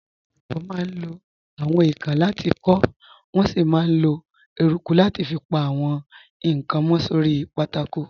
Àwọn olùkọ́ máa ń lo àwọn èèkàn láti kọ, wọ́n sì máa ń lo eruku láti fi pa àwọn nǹkan mọ́ sórí pátákó.